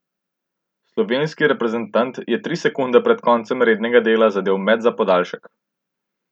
Slovenski reprezentant je tri sekunde pred koncem rednega dela zadel met za podaljšek.